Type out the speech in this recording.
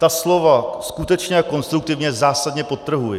Ta slova "skutečně a konstruktivně" zásadně podtrhuji.